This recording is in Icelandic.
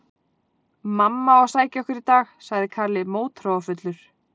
Mamma á að sækja okkur í dag, sagði Kalli mótþróafullur.